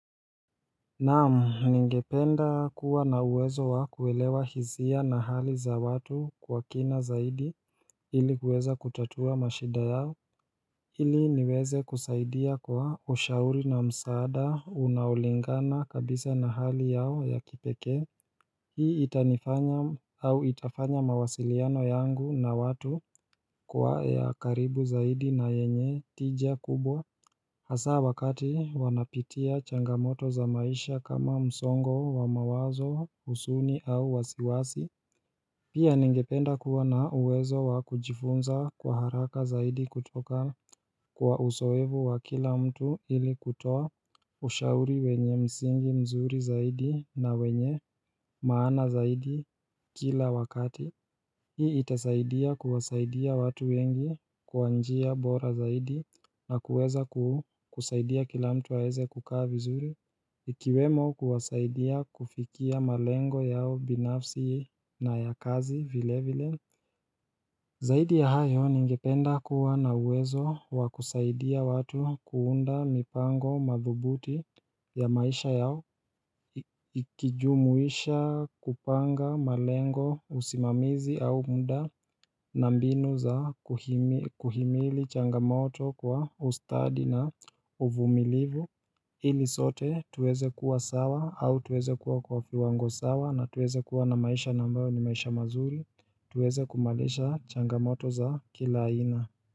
Naam ningependa kuwa na uwezo wa kuelewa hisia na hali za watu kwa kina zaidi ilikuweza kutatua mashida yao Hili niweze kusaidia kwa ushauri na msaada unaolingana kabisa na hali yao ya kipekee Hii itanifanya au itafanya mawasiliano yangu na watu kuwa ya karibu zaidi na yenye tija kubwa Hasa wakati wanapitia changamoto za maisha kama msongo wa mawazo huzuni au wasiwasi Pia ningependa kuwa na uwezo wa kujifunza kwa haraka zaidi kutoka kwa uzoefu wa kila mtu ili kutoa ushauri wenye msingi mzuri zaidi na wenye maana zaidi kila wakati Hii itasaidia kuwasaidia watu wengi kwanjia bora zaidi na kuweza kusaidia kila mtu aweze kukaa vizuri Ikiwemo kuwasaidia kufikia malengo yao binafsi na ya kazi vile vile Zaidi ya hayo ningependa kuwa na uwezo wakusaidia watu kuunda mipango madhubuti ya maisha yao Ikijumuisha kupanga malengo usimamizi au muda na mbinu za kuhimili changamoto kwa ustadi na uvumilivu ili sote tuweze kuwa sawa au tuweze kuwa kwa viwango sawa na tuweze kuwa na maisha ambayo ni maisha mazuri tuweze kumaliza changamoto za kila aina.